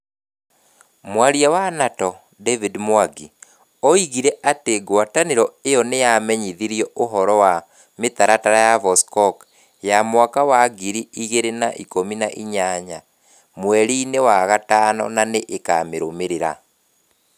Mwaria wa NATO, David Mwangi, oigire atĩ ngwatanĩro ĩyo nĩ yamenyithirio ũhoro wa mĩtaratara ya Vostok ya mwaka wa ngiri igĩrĩ na ikũmi na inyanya mweri-inĩ wa gatano na nĩ ĩkamĩrũmĩrĩra.